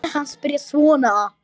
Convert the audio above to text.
Það eru hennar.